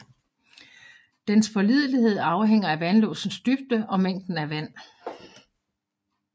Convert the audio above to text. Dens pålidelighed afhænger af vandlåsens dybde og mængden af vand